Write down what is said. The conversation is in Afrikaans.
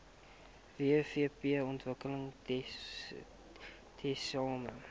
wvp ontwikkel tesame